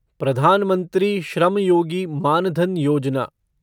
प्रधान मंत्री श्रम योगी मान धन योजना